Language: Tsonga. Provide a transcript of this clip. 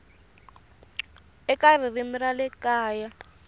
eka ririmi ra le kaya